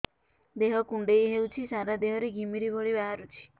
ଦେହ କୁଣ୍ଡେଇ ହେଉଛି ସାରା ଦେହ ରେ ଘିମିରି ଭଳି ବାହାରୁଛି